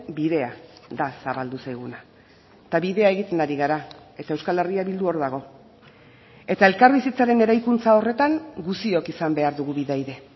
bidea da zabaldu zaiguna eta bidea egiten ari gara eta euskal herria bildu hor dago eta elkarbizitzaren eraikuntza horretan guztiok izan behar dugu bidaide